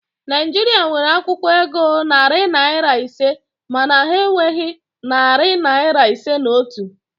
Naịjirịa nwere akwụkwọ ego narị naịra ise mana ha enweghi narị naịra ise na otu